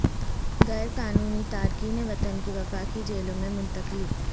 غیر قانونی تارکین وطن کی وفاقی جیلوں میں منتقلی